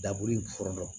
Dabolifuran dɔn